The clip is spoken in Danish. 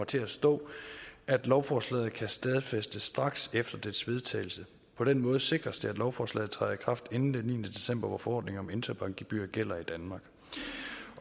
til at stå at lovforslaget kan stadfæstes straks efter dets vedtagelse på den måde sikres det at lovforslaget træder i kraft inden den niende december hvor forordningen om interbankgebyrer gælder i danmark